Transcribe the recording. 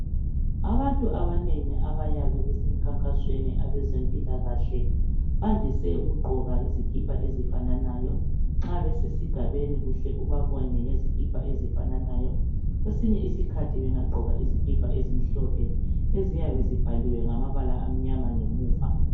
Abantu abanengi abayabe besemkhankasweni abezempikahle bandise ukugqoka izikipa ezifananayo. Nxa besesigabeni uhle ubabone ngezikipa ezifananayo. Kwesinye isikhathi bengagqoka izikipa ezimhlophe eziyabe zibhaliwe ngamabala amnyama ngemuva.